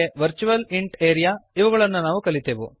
virtual ಇಂಟ್ area ಇವುಗಳನ್ನು ನಾವು ಕಲಿತೆವು